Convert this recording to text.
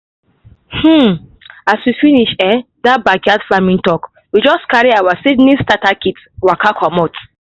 um as we finish um that backyard farming talk we just carry our seedling starter kit waka comot.